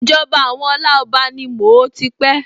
Ìjọba àwọn Ọláọba ni mo ó ti pé